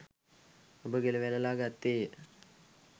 ඔබ ගෙළ වැළලා ගත්තේය.